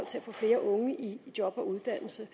til at få flere unge i job og uddannelse